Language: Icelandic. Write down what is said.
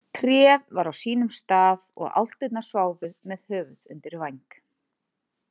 Tréð var á sínum stað og álftinar sváfu með höfuð undir væng.